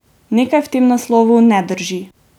Nekaj v tem naslovu ne drži.